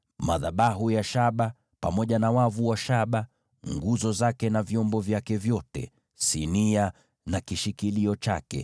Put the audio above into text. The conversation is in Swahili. madhabahu ya shaba, pamoja na wavu wa shaba, nguzo zake na vyombo vyake vyote, sinia, na tako lake;